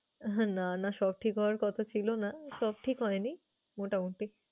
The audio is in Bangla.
হম না না সব ঠিক হওয়ার কথা ছিল না। সব ঠিক হয় নি, মোটামোটি।